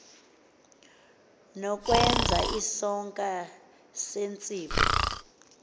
nokwenza isonka sentsipho